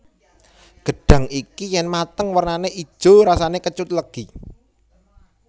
Gedhang iki yen mateng wernane ijo rasane kecut legi